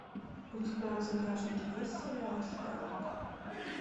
у тебя в загашнике есть сериал шерлок